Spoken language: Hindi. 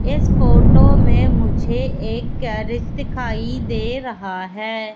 इस फोटो में मुझे एक गैरज दिखाई दे रहा है।